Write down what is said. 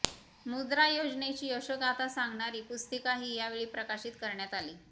मुद्रा योजनेची यशोगाथा सांगणारी पुस्तिकाही यावेळी प्रकाशित करण्यात आली